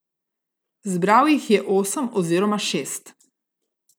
Zbral jih je osem oziroma šest.